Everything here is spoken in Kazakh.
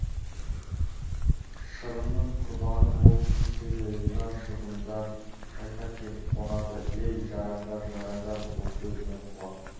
шырынның құрбаны болып кетсе де риза шыбындар қайта келіп қонады ей жарандар жарандар бұл сөзіме құлақ